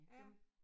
Ja